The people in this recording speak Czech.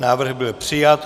Návrh byl přijat.